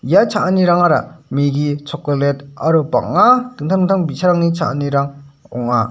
ia cha·anirangara megi chokolet aro bang·a dingtang dingtang bi·sarangni cha·anirang ong·a.